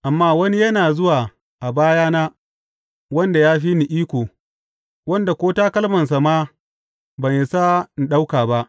Amma wani yana zuwa a bayana wanda ya fi ni iko, wanda ko takalmansa ma ban isa in ɗauka ba.